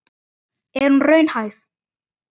Er hún raunhæf?